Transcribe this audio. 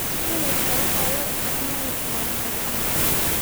Isbinaajka waxaa loo isticmaali karaa maraq ahaan.